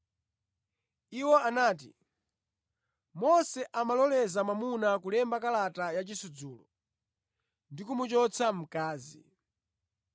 Iwo anati, “Mose amaloleza mwamuna kulemba kalata ya chisudzulo ndi kumuchotsa mkazi.”